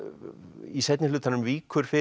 í seinni hlutanum víkur fyrir